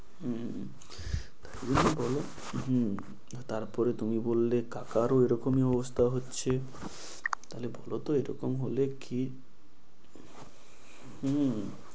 হম হম তুমিই বলো হম তারপরে তুমি বললে কাকারও এরকমই অবস্থা হচ্ছে। তাহলে বলতো এরকম হলে কী?